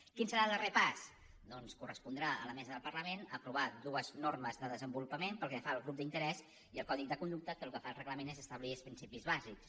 quin serà el darrer pas doncs correspondrà a la mesa del parlament aprovar dues normes de desenvolupament pel que fa als grups d’interès i el codi de conducta que el que fa el reglament és establir els principis bàsics